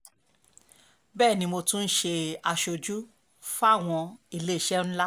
bẹ́ẹ̀ ni mo tún ń ṣe aṣojú fáwọn iléeṣẹ́ ńlá